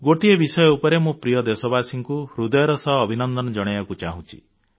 ଗୋଟିଏ ବିଷୟ ଉପରେ ମୁଁ ପ୍ରିୟ ଦେଶବାସୀଙ୍କୁ ହୃଦୟର ସହ ଅଭିନନ୍ଦନ ଜଣାଇବାକୁ ଚାହୁଁଛି